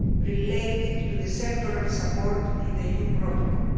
related to the sectoral support in the new protocol.